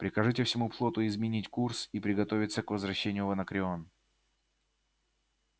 прикажите всему флоту изменить курс и приготовиться к возвращению в анакреон